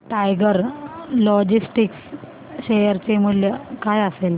tiger logistics share चे मूल्य काय असेल